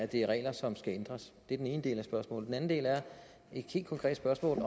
det er regler som skal ændres det er den ene del af spørgsmålet den anden del er et helt konkret spørgsmål